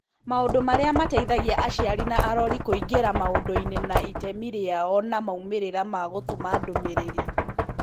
Maũndũ marĩa mateithigia aciari na arori kũingĩra maũndũ-inĩ na itemi rĩao na moimĩrĩra ma gũtũma ndũmĩrĩri.